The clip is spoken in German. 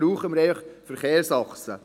Dazu brauchen wir Verkehrsachsen.